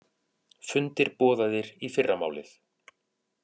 Fundir boðaðir í fyrramálið